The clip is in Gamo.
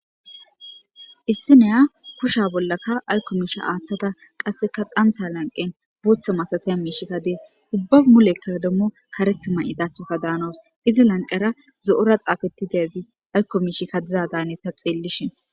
Issineya kusha bollakka aykko miisha aaththata qasseka qantha lanqen bootha masataya miishikka dee ubba mulekka dommo kareth ma7i dathoka daanos izi lanqera zo'ora xaafeti dezi aykko miishikka dizadaane ta xeellishin.